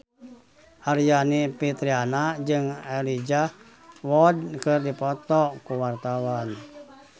Aryani Fitriana jeung Elijah Wood keur dipoto ku wartawan